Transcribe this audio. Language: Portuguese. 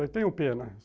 Eu tenho pena.